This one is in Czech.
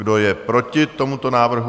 Kdo je proti tomuto návrhu?